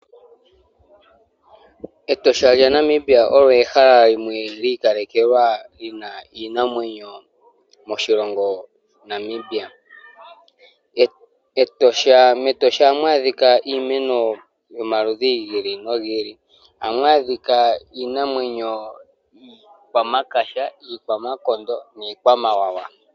Etosha lya Namibia olyo ehala limwe lyikalekelwa lyina iinamwenyo moshilongo Namibia, metosha ohamu adhika iimeno yomaludhi ngili nongili hamwadhika Iinamwenyo iikwamakaha, iikwamakondo nikwamawawa.